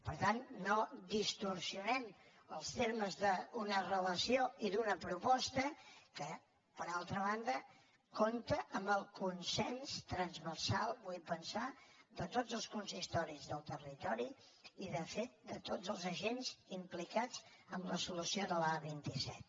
per tant no distorsionem els termes d’una relació i d’una proposta que per altra banda compta amb el consens transversal vull pensar de tots els consistoris del territori i de fet de tots els agents implicats en la solució de l’a·vint set